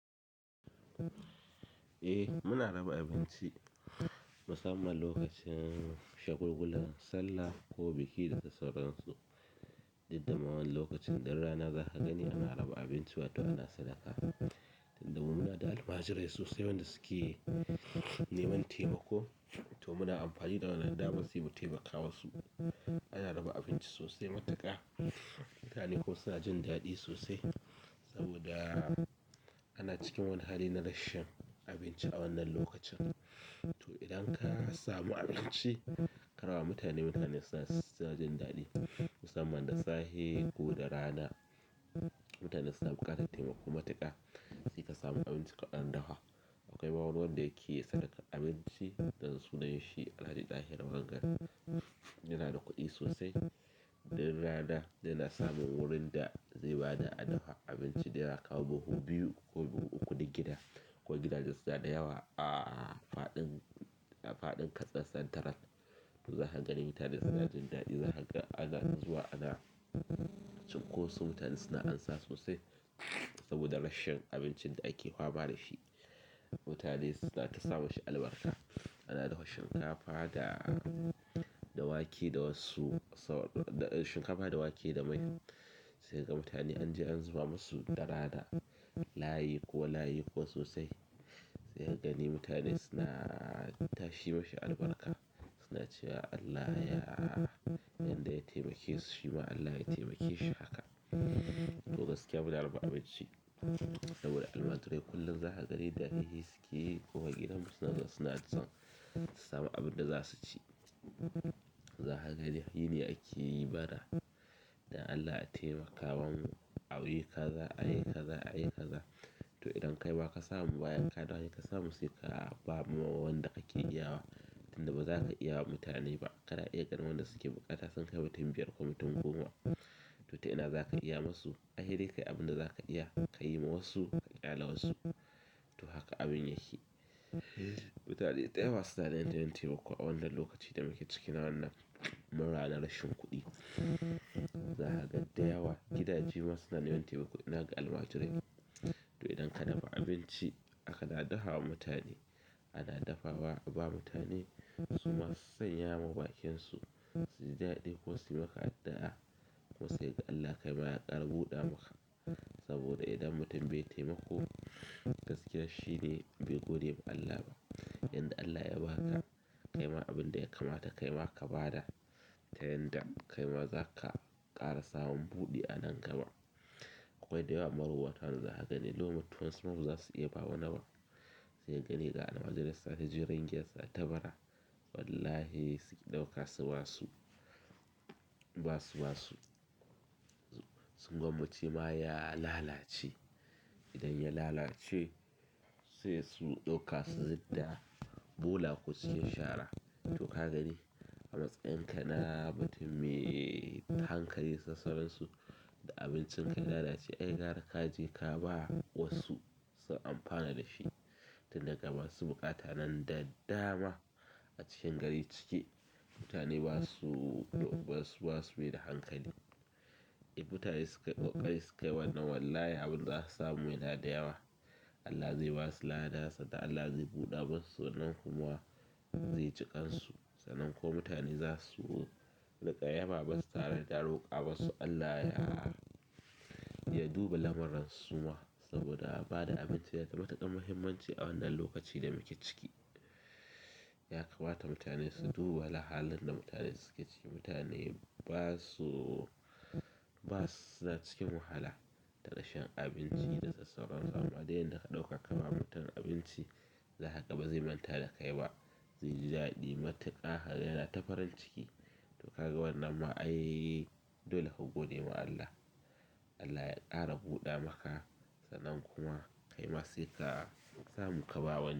Eh muna raba abinci musamman lokacin shagulgulan sallah ko biki da dai sauransu. Duddama wani lokacin du rana za ka gani ana raba abinci wato ana sadaka. Muna da almajirai sosai wanda suke neman taimako to muna amfani da wannan daman se mu taimaka ma su. Ana raba abinci sosai matuƙa mutane kuma suna jin daɗi sosai saboda ana cikin wani hali na rashin abinci a wannan lokacin. To idan ka samu abinci ka raba wa mutane mutane suna ss suna jin daɗi musamman da sahe ko da rana. Mutane suna buƙatar taimako matuƙa sai ka samu abinci ka ɗan dafa akwai ma wani wanda yake sadakar abinci nan sunan shi alhaji dahi wanga yana da kuɗi sosai. Dur rana yana samun wurin da zai ba da adafa abinci da yawa kamar buhu biyu ko buhu uku na gida. Akwai gidaje suna da yawa a faɗin, a faɗin Katsina central. To zaka dai mutane sunajin daɗi zakaga ana zuwa ana cinkoso mutane suna ansa sosai saboda rashin abincin da ake fama dashi. Mutane suna tasa mi shi albarka. Ana dafa shinkafa da, da wake da wasu shinkafa da wake da mai sai ka ga mutane an je an zuba musu dara na layi kuwa layi kuwa sosai. He kagani mutane suna tashi mishi albarka suna cewa Allah ya, yanda ya taimake su shi ma Allah ya taimake shi haka. To gaskiya muna raba abinci saboda almajirai kullum za ka gani dadare sukeyi kowar gidan mu suna zuwa suna ansa su samu abin da za su ci. Za ka gani yini ake yi bara dan Allah a taimakama ma mu a yi kaza a yi kaza a yi kaza. To idan kai ma ka samu ba yanka ɗan ka samu sai ka ba ma wanda ka ke iya wa tunda ba za ka iya wa mutane ba. Kana iya ganin wanda suke buƙata sun kai mutum biyar ko mutun goma to ta ina za ka iya mu su. Ai hedai kai abin da za ka iya ka yi ma wasu ka ƙyale wasu. To haka abin yake. Mutane dayawa suna da yanayin taimako a wannan lokacin da muke ciki na wannan mura na rashin kuɗi. Za ka ga da yawa gidaje ma suna neman taimako ina ga almajirai. To idan ka dafa abinci a ka da dafa wa mutane ana dafa wa aba mutane su ma su sanya ma bakin su su ji daɗi ko suyi maka addu'a. To sai kaga Allah kaima ya ƙara buɗa maka saboda idan mutum bai taimako gaskiya shine bai gode ma Allah ba. Yanda Allah ya ba ka kaima abin da ya kamata kaima ka ba da ta yanda kaima za ka ƙara samun buɗi a nan gaba. Akwai da yawa marowata wanda za ka gani, loman tuwo wasuna basaza su iya bawa wani ba. Sai ka gani ga almajirai suna shiga jirgin suka taɓa ra wallahi suki ɗauka su basu, ba su basu. Sun gwammace ma ya lalace. Idan ya lalace sai su ɗauka su zidda bola ko su ci sharar. To kagani a matsayin ka na mutum mai hankali da sauran da abincinka ya lalace a gwara kaje ka bawa wasu su amfana dashi tunda ga masu buƙata nan da dama a cikin gari cike mutane basu, basu, basu mai da hankali. Idan mutane sukai ƙoƙari, sukai wannan wallahi abin za ka samu yana da yawa. Allah zai ba su lada sannan Allah zai buɗa masu sannan kuma zai jikansu. Sannan ko mutane za su riƙa yaba masu tare da roƙa masu Allah ya, ya duba lamurran su ma saboda ba da abinci yana da matuƙar muhimmanci a wannan lokaci da muke ciki. Ya kamata mutane su duba lahalin da mutane suke ciki. Mutane basu, ba suna cikin wahala ta rashin abinci da sassauransu. Amma dai yanda ka ɗauka ka ba mutum abinci za ka ga bazai manta da kai ba. Zai ji daɗi matuƙa kaga yana ta farin ciki. To ka ga wannan ma ai dole ka gode ma Allah. Allah ya ƙara buɗa maka sannan kuma kaima sai ka samu ka ba wani.